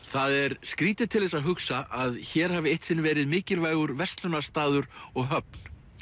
það er skrýtið til þess að hugsa að hér hafi eitt sinn verið mikilvægur verslunarstaður og höfn